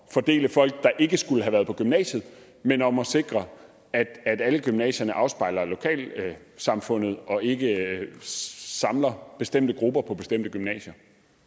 fordele folk der ikke skulle have været på gymnasiet men om at sikre at alle gymnasierne afspejler lokalsamfundet og ikke samler bestemte grupper på bestemte gymnasier